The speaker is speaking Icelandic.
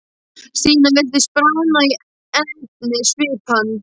Stína virtist bráðna í einni svipan.